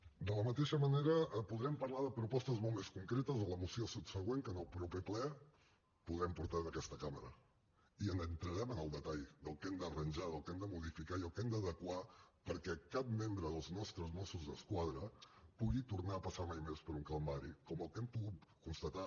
de la mateixa manera podrem parlar de propostes molt més concretes a la moció subsegüent que en el proper ple podrem portar en aquesta cambra i entrarem en el detall del que hem d’arranjar del que hem de modificar i del que hem d’adequar perquè cap membre dels nostres mossos d’esquadra pugui tornar a passar mai més per un calvari com el que hem pogut constatar